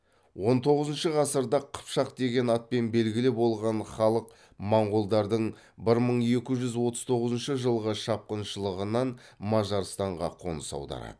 он тоғызыншы ғасырда қыпшақ деген атпен белгілі болған халық моңғолдардың бір мың екі жүз отыз тоғызыншы жылғы шапқыншылығынан мажарстанға қоныс аударады